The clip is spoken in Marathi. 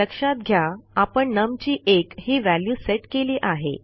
लक्षात घ्या आपण numची 1 ही व्हॅल्यू सेट केली आहे